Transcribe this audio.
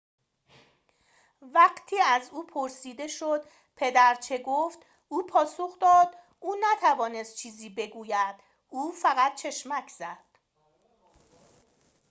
وقتی که از او پرسیده شد پدر چه گفت او پاسخ داد او نتوانست چیزی بگوید او فقط چشمک زد